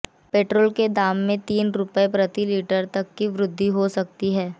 petrol के दाम में तीन रुपए प्रति लीटर तक की वृद्धि हो सकती है